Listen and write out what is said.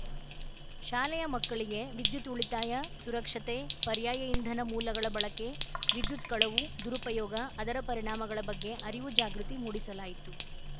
ಶಾಲೆಯ ಮಕ್ಕಳಿಗೆ ವಿದ್ಯುತ್‌ ಉಳಿತಾಯ ಸುರಕ್ಷತೆ ಪರ್ಯಾಯ ಇಂಧನ ಮೂಲಗಳ ಬಳಕೆ ವಿದ್ಯುತ್‌ ಕಳವು ದುರುಪಯೋಗ ಅದರ ಪರಿಣಾಮಗಳ ಬಗ್ಗೆ ಅರಿವು ಜಾಗೃತಿ ಮೂಡಿಸಲಾಯಿತು